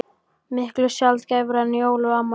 Miklu sjaldgæfara en jól og afmæli.